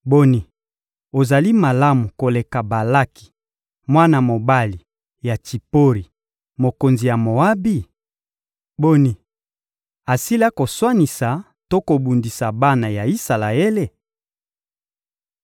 Boni, ozali malamu koleka Balaki, mwana mobali ya Tsipori, mokonzi ya Moabi? Boni, asila koswanisa to kobundisa bana ya Isalaele?